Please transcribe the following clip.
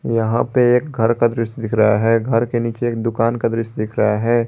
यहां पे एक घर का दृश्य दिख रहा है घर के नीचे एक दुकान का दृश्य दिख रहा है।